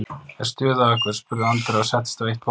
Er stuð á ykkur? spurði Andrea og settist á eitt borðið.